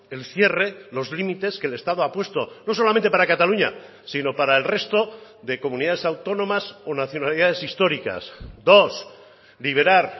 el cierre los límites que el estado ha puesto no solamente para cataluña sino para el resto de comunidades autónomas o nacionalidades históricas dos liberar